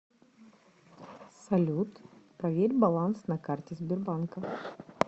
салют проверь баланс на карте сбербанка